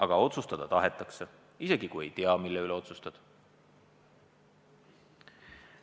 Aga otsustada tahetakse, isegi kui ei teata, mille üle otsustatakse.